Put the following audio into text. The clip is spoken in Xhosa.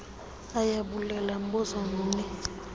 ayabulela mbuzo mni